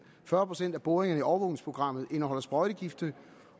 fyrre procent af boringerne i overvågningsprogrammet indeholdt sprøjtegifte